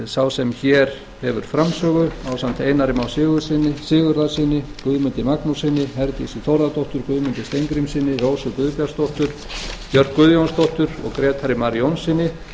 sá sem hér hefur framsögu ásamt einari má sigurðarsyni guðmundi magnússyni herdísi þórðardóttur guðmundi steingrímssyni rósu guðbjartsdóttur björk guðjónsdóttur og grétari mar jónssyni